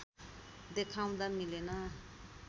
देखाउँदा मिलेन